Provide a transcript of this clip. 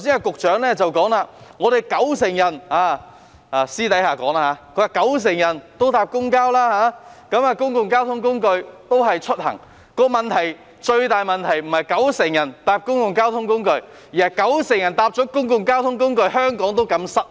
局長剛才私下提到香港有九成市民乘搭公共交通工具出行，但最大的問題不是有九成市民乘搭公共交通工具，而是有九成人乘搭公共交通工具後，香港仍然擠塞。